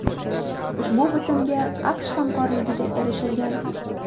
Ushbu bitimga AQSh hamkorligida erishilgan .